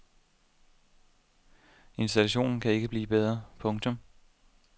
Installationen kan ikke blive bedre. punktum